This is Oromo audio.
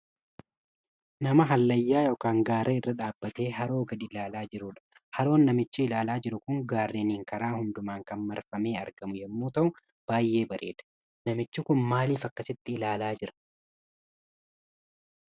Nama hallayyaa yookaan Gaara irra dhaabbatee haroo adii gadii ilaalaa jirudha. Haroon namichi ilaalaa jiru Kun, gaarreniin karaaa hundumaa kan marfamee argamu yommuu ta'u, baay'ee bareeda. Namichi Kun maalif akkasitti ilaalaa?